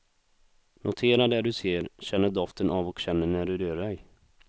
Notera det du ser, känner doften av och känner när du rör dig.